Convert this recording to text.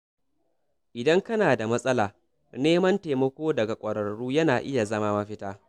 Idan kana da matsala, neman taimako daga ƙwararru yana iya zama mafita.